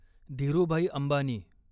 Dhirubhai Ambani